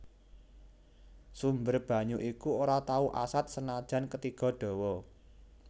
Sumber banyu iku ora tau asat senajan ketiga dawa